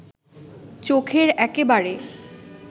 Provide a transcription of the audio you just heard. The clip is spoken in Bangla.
চোখের একেবারে